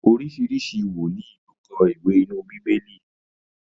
oríṣiríṣi wòlíì ló kọ iwe inú Bibeli.